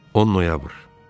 10 noyabr.